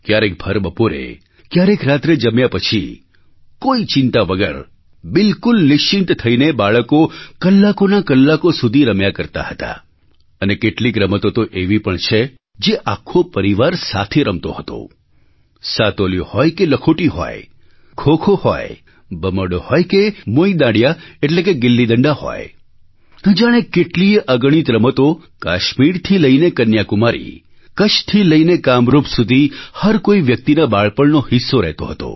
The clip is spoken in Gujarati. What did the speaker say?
ક્યારેક ભર બપોરે ક્યારેક રાત્રે જમ્યા પછી કોઈ ચિંતા વગર બિલકુલ નિશ્ચિંત થઈને બાળકો કલાકોના કલાકો સુધી રમ્યા કરતા હતા અને કેટલીક રમતો તો એવી પણ છે જે આખો પરિવાર સાથે રમતો હતો સાતોલીયું હોય કે લખોટી હોય ખો ખો હોય ભમરડો હોય કે મોઇ દાંડિયા ગિલ્લી ડંડા હોય ન જાણેકેટલીય અગણિત રમતો કાશ્મીરથી લઈને કન્યાકુમારી કચ્છથી લઈને કામરૂપ સુધી હર કોઈ વ્યક્તિના બાળપણનો હિસ્સો રહેતો હતો